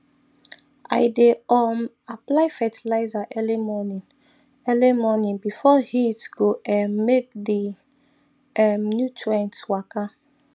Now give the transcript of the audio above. i dey um apply fertilizer early morning early morning before heat go um make the um nutrients waka